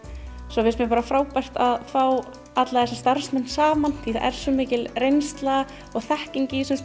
svo finnst mér bara frábært að fá alla þessa starfsmenn saman því það er svo mikil reynsla og þekking í þessum